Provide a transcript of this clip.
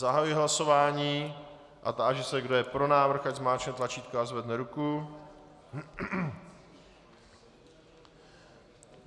Zahajuji hlasování a táži se, kdo je pro návrh, ať zmáčkne tlačítko a zvedne ruku?